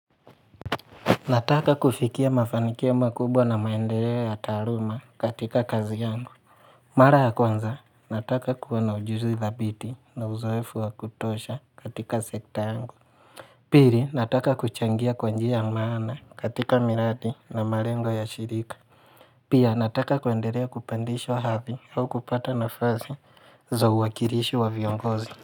Nataka kufikia mafanikio makubwa na maendeleo ya taaluma katika kazi yangu. Mara ya kwanza, nataka kuwa na ujuzi dhabiti na uzoefu wa kutosha katika sekta yangu. Pili, nataka kuchangia kwa njia ya maana katika miradi na malengo yashirika. Pia, nataka kuendelea kupandishwa hadhi au kupata nafasi za uwakilishi wa viongozi.